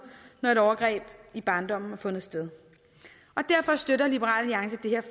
når et overgreb i barndommen har fundet sted og derfor støtter liberal alliance det